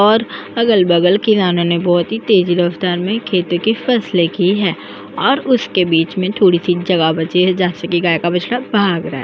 और अगल बगल किसानों ने बहुत ही तेज ही रफ़्तार में खेती की फसले की है और उसके बीच में थोड़ी सी जगह बची है जहाँ से गाय का बछड़ा भाग रहा है।